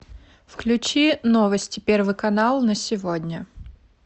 включи новости первый канал на сегодня